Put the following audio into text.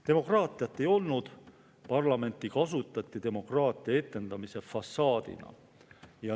Demokraatiat ei olnud, parlamenti kasutati demokraatia etendamise fassaadina.